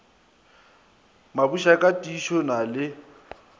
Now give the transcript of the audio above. mabusha ka tiišo na le